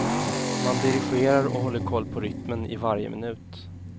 Man dirigerar och håller koll på rytmen i varje minut.